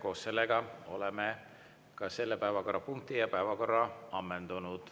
Koos sellega oleme ka selle päevakorrapunkti ja päevakorra ammendanud.